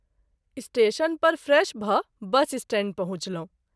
Station पर fresh भ’ bus stand पहुँचलहुँ।